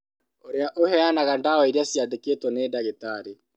Ũrĩa ũheanaga ndawa iria ciandĩkĩtwo nĩ ndagĩtarĩ